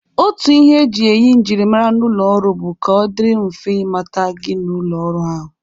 Otu ihe eji eyi njirimara n'ụlọ ọrụ bụ ka ọ dịrị mfe ịmata gị n'ụlọ ọrụ ahụ.